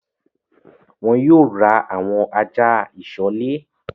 Wọn yìí ó ra àwọn ajá ìsọ̀lè